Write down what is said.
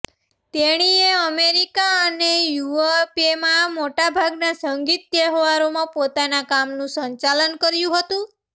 તેણીએ અમેરિકા અને યુઅરપેમાં મોટાભાગના સંગીત તહેવારોમાં પોતાના કામનું સંચાલન કર્યું હતું